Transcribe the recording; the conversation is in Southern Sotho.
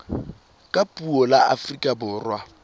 ka puo la afrika borwa